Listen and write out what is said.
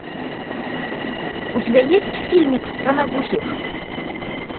у тебя есть фильмик страна глухих